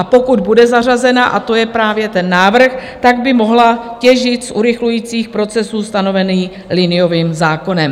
A pokud bude zařazena, a to je právě ten návrh, tak by mohla těžit z urychlujících procesů stanovených liniovým zákonem.